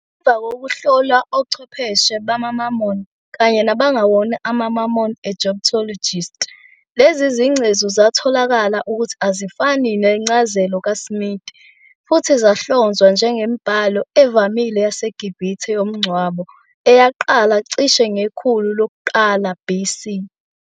Ngemva kokuhlolwa ochwepheshe bamaMormon kanye nabangewona amaMormon Egyptologists, lezi zingcezu zatholakala ukuthi azifani neze nencazelo kaSmith, futhi zahlonzwa njengemibhalo evamile yaseGibhithe yomngcwabo, eyaqala cishe ngekhulu lokuqala BC.